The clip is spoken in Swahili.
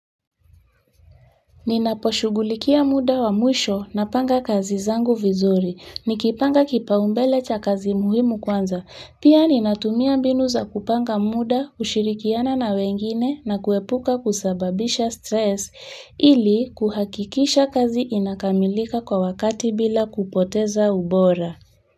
Ninaposhughulikia muda wa mwisho napanga kazi zangu vizuri, nikipanga kipaumbele cha kazi muhimu kwanza, pia ninatumia mbinu za kupanga muda, ushirikiano na wengine na kuepuka kusababisha stress, ili kuhakikisha kazi inakamilika kwa wakati bila kupoteza ubora.